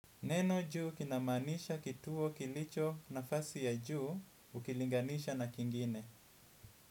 Neno juu kinamaanisha kituo kilicho nafasi ya juu ukilinganisha na kingine.